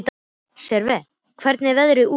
Sverre, hvernig er veðrið úti?